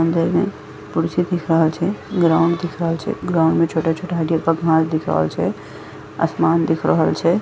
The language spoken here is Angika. घर में कुर्सी दिख रहल छे ग्राउण्ड दिख रहल छे ग्राउण्ड में छोटा-छोटा हरिहरका घांस दिख रहल छे आसमान दिख रहल छे।